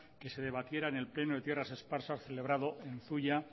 que se debatiera en el pleno de tierras esparsas celebrado en zuia